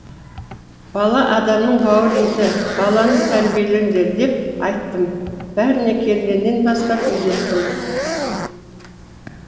бала адамның бауыр еті баланы тәрбиелеңдер деп айттым бәріне келгеннен бастап үйреттім